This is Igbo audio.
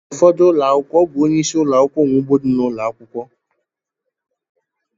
N’ufodu ụlọakwụkwọ ọ bụ onyeisi ụlọakwụkwọ nwe ugbo di n’ụlọ ụlọakwụkwọ